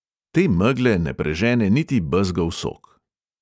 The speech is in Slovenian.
Te megle ne prežene niti bezgov sok.